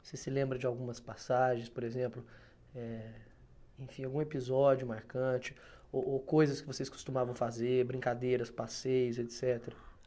Você se lembra de algumas passagens, por exemplo, eh enfim, algum episódio marcante ou ou coisas que vocês costumavam fazer, brincadeiras, passeios, etcetera